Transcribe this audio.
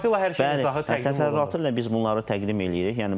təfərrüatla hər şeyi izahı təqdim təfərrüatla biz bunları təqdim eləyirik.